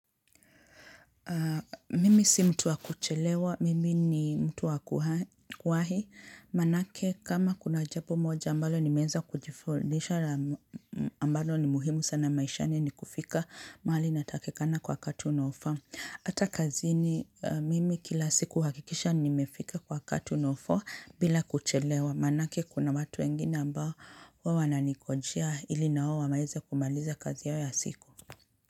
Mimi si mtu wa kuchelewa, mimi ni mtu wa kuwahi, manake kama kuna jambo moja ambalo nimeweza kujifundisha ambalo ni muhimu sana maishani ni kufika mahali natakikana kwa wakati unofaa. Hata kazini mimi kila siku uhakikisha nimefika kwa wakati unaofaa bila kuchelewa, manake kuna watu wengini ambao wao wananikojea ili na wao waweze kumaliza kazi yao ya siku.